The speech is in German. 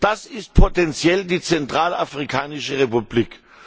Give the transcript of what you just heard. Das ist potenziell die Zentralafrikanische Republik.